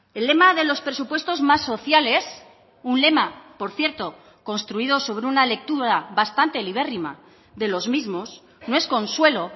el lema de los presupuestos más sociales un lema por cierto construido sobre una lectura bastante el libérrima de los mismos no es consuelo